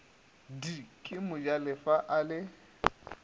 d ke mojalefa a le